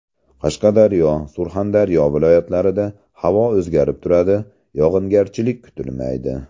Qashqadaryo , Surxondaryo viloyatlarida havo o‘zgarib turadi, yog‘ingarchilik kutilmaydi.